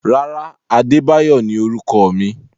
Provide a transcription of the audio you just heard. Rárá, Adebayo ni orúkọ mi.